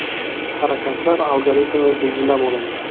Harakatlar algoritmi belgilab olindi.